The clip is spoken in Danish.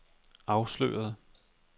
afsløret